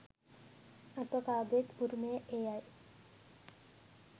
අප කාගේත් උරමය එය යි.